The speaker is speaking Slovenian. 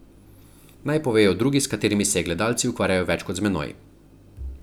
Naj povejo drugi, s katerimi se gledalci ukvarjajo več kot z menoj.